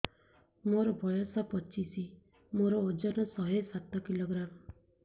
ମୋର ବୟସ ପଚିଶି ମୋର ଓଜନ ଶହେ ସାତ କିଲୋଗ୍ରାମ